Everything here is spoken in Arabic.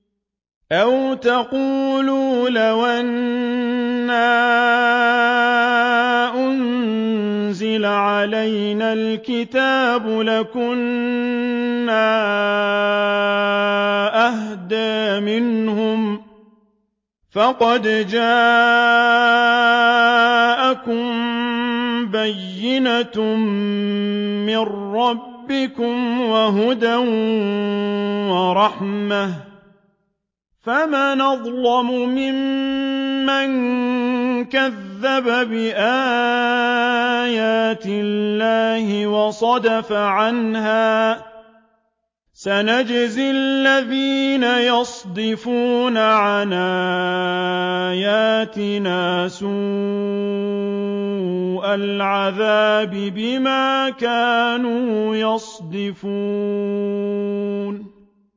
أَوْ تَقُولُوا لَوْ أَنَّا أُنزِلَ عَلَيْنَا الْكِتَابُ لَكُنَّا أَهْدَىٰ مِنْهُمْ ۚ فَقَدْ جَاءَكُم بَيِّنَةٌ مِّن رَّبِّكُمْ وَهُدًى وَرَحْمَةٌ ۚ فَمَنْ أَظْلَمُ مِمَّن كَذَّبَ بِآيَاتِ اللَّهِ وَصَدَفَ عَنْهَا ۗ سَنَجْزِي الَّذِينَ يَصْدِفُونَ عَنْ آيَاتِنَا سُوءَ الْعَذَابِ بِمَا كَانُوا يَصْدِفُونَ